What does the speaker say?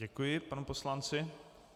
Děkuji panu poslanci.